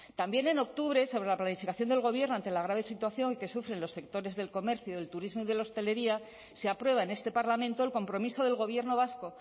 también en octubre sobre la planificación del gobierno ante la grave situación que sufren los sectores del comercio del turismo y de la hostelería se aprueba en este parlamento el compromiso del gobierno vasco